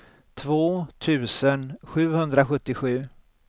två tusen sjuhundrasjuttiosju